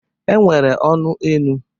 E nwere ụnọ enu.